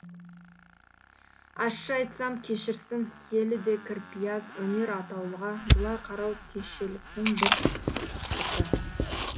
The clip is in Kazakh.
ащы айтсам кешірсін киелі де кірпияз өнер атаулыға бұлай қарау кешеліктің бір сықпыты